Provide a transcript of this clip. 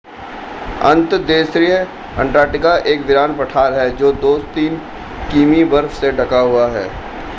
अंतर्देशीय अंटार्कटिका एक वीरान पठार है जो 2-3 किमी बर्फ से ढका हुआ है